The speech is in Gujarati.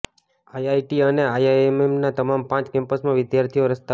આઈઆઈટી અને આઈઆઈએમના તમામ પાંચ કેમ્પસમાં વિદ્યાર્થીઓ રસ્તા પર